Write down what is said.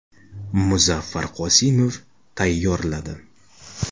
Muzaffar Qosimov tayyorladi.